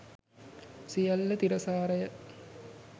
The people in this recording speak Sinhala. සියල්ල තිරසාරය.